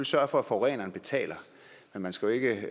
sørge for at forureneren betaler men man skal jo ikke